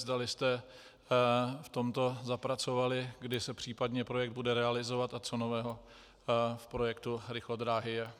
Zdali jste v tomto zapracovali, kdy se případně projekt bude realizovat a co nového v projektu rychlodráhy je.